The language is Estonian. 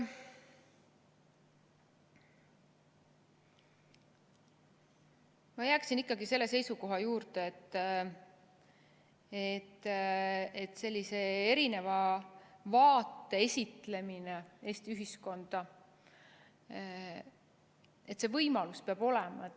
Ma jääksin ikkagi selle seisukoha juurde, et sellise erineva vaate esitlemise võimalus Eesti ühiskonnas peab olema.